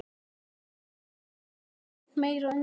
Milla var jafnvel enn meira undrandi.